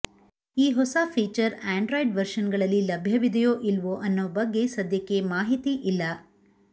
ಈ ಹೊಸ feature Android version ಗಳಲ್ಲಿ ಲಭ್ಯವಿದೆಯೋ ಇಲ್ವೋ ಅನ್ನೋ ಬಗ್ಗೆ ಸದ್ಯಕ್ಕೆ ಮಾಹಿತಿ ಇಲ್ಲ